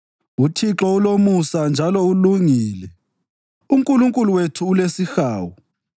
UThixo ulomusa njalo ulungile; uNkulunkulu wethu ulesihawu.